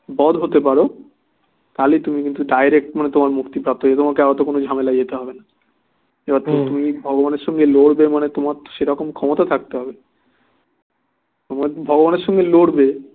বধ হতে পারো তাহলে তুমি কিন্তু ডাইরেক্ট মানে তোমার মুক্তির পথে তোমাকে এতো কোনো ঝামেলা দিতে হবেনা যাতে তুমি ভগবানের সাথে লড়বে মানে তোমার সেরকম ক্ষমতা থাকতে হবে ভগবানের সাথে লড়বে